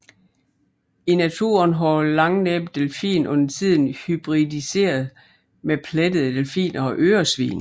I naturen har langnæbbet delfin undertiden hybridiseret med plettede delfiner og øresvin